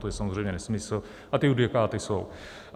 To je samozřejmě nesmysl a ty judikáty jsou.